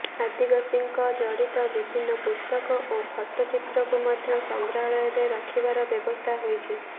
ଆଦିବାସୀଙ୍କ ଜଡିତ ବିଭିନ୍ନ ପୁସ୍ତକ ଓ ଫଟୋଚିତ୍ରକୁ ମଧ୍ୟ ସଂଗ୍ରହାଳୟରେ ରଖିବାର ବ୍ୟବସ୍ଥା ହୋଇଛି